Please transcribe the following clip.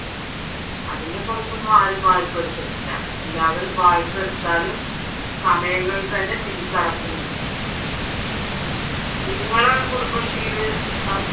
അതിന്റെ പുറത്തൊന്നും ആരും വായ്‌പ്പാ എടുത്തിട്ടില്ല എല്ലാവരും വായ്‌പ്പാ എടുത്താലും സമയങ്ങളിൽ തന്നെ തിരിച്ചടക്കുന്നുണ്ട് നിങ്ങളുടെ കുടുംബശ്രീയിൽ